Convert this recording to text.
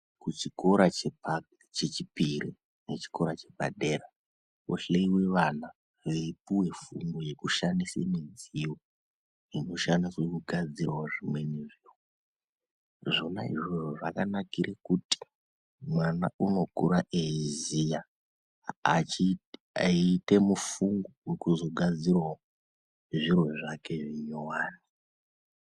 Kuchikora chechipiri nechikora chepadera kwohleiwe vana veipuwe fundo yekushandise midziyo inoshandiswa kugadzirawo zvimweni zviro. Zvona izvozvo zvakanikire kuti mwana unokura eiziya eiite mufungo wekuzogadzirawo zviro zvake zvinyowani.